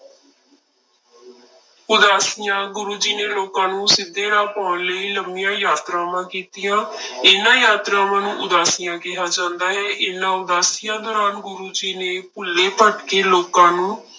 ਉਦਾਸੀਆਂ ਗੁਰੂ ਜੀ ਨੇ ਲੋਕਾਂ ਨੂੰ ਸਿੱਧੇ ਰਾਹ ਪਾਉਣ ਲਈ ਲੰਮੀਆਂ ਯਾਤਰਾਵਾਂ ਕੀਤੀਆਂ ਇਹਨਾਂ ਯਾਤਰਾਵਾਂ ਨੂੰ ਉਦਾਸੀਆਂ ਕਿਹਾ ਜਾਂਦਾ ਹੈ, ਇਹਨਾਂ ਉਦਾਸੀਆਂ ਦੌਰਾਨ ਗੁਰੂ ਜੀ ਨੇ ਭੁੱਲੇ ਭਟਕੇ ਲੋਕਾਂ ਨੂੰ